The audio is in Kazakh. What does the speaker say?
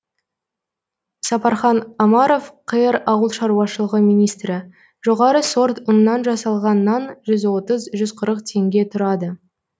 сапархан омаров қр ауыл шаруашылығы министрі жоғары сорт ұннан жасалған нан жүз отыз жүз қырық теңге тұрады